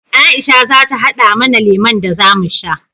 Aisha za ta haɗa mana lemon da za mu sha.